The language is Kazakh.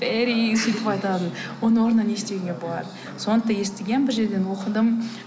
ферри оның орнына не істеуге болады соны да естігем бір жерден оқыдым